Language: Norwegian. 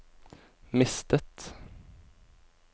mistet